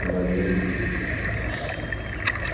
военные наркотическими такими